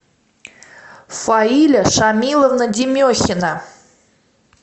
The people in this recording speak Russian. фаиля шамиловна демехина